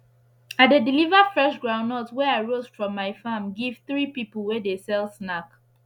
i dey deliver fresh groundnut wey i roast from my farm give three pipu wey dey sell snack